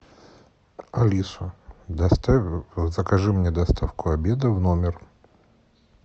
алиса доставь закажи мне доставку обеда в номер